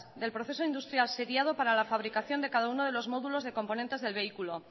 del proceso industrial seriado para la fabricación de cada uno de los módulos de componentes del vehículo